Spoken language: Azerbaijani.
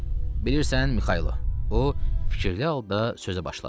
Bilirsən, Mikayılo, o, fikirli halda sözə başladı.